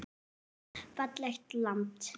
Fallegt land.